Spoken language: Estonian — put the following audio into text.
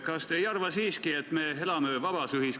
Mind huvitab selle asja juures raudteeteema, mitte niipalju mereohutus.